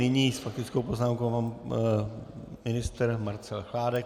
Nyní s faktickou poznámkou pan ministr Marcel Chládek.